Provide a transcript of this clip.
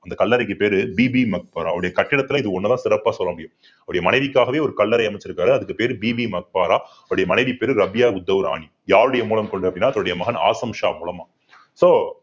இந்த கல்லறைக்கு பேரு பிபிகா மக்பாரா அவருடைய கட்டடத்துல இது ஒண்ணுதான் சிறப்பா சொல்ல முடியும். அவருடைய மனைவிக்காகவே ஒரு கல்லறை அமைச்சிருக்காரு அதுக்கு பேரு பிபிகா மக்பாரா அவருடைய மனைவி பேரு ரபியா உத்தவ் ராணி யாருடைய மூலம் கொண்டு அப்படின்னா தன்னுடைய மகன் ஆசம் ஷா மூலமா